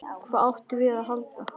Hvað áttum við að halda?